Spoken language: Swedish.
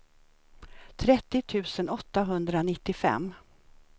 trettio tusen åttahundranittiofem